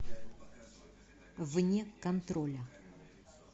вне контроля